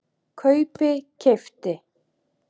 kaupi- keypti